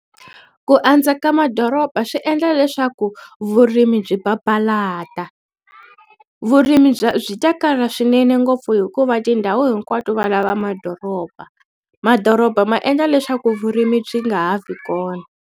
Ku andza ka madoroba swi endla leswaku vurimi byi papalata vurimi bya byi ta kala swinene ngopfu hikuva tindhawu hinkwato valava madoroba madoroba ma endla leswaku vurimi byi nga ha vi kona.